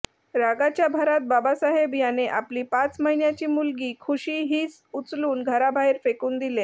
रागाच्या भरात बाबासाहेब याने आपली पाच महिन्याची मुलगी खुशी हिस उचलून घराबाहेर फेकून दिले